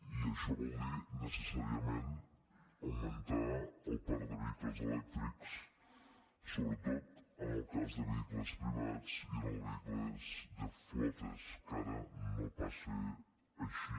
i això vol dir necessàriament augmentar el parc de vehicles elèctrics sobretot en el cas de vehicles privats i en els vehicles de flotes que ara no passa així